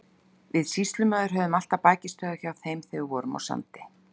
Við sýslumaður höfðum alltaf bækistöðvar hjá þeim þegar við vorum á Sandi.